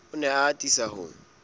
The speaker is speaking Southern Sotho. o ne a atisa ho